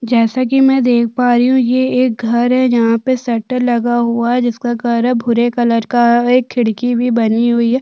जैसा कि मैं देख पा रही हूँ ये एक घर है जहाँ पर शटर लगा हुआ है जिसका कलर भूरे कलर का है एक खिड़की भी बनी हुई हैं।